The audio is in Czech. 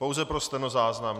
Pouze pro stenozáznam.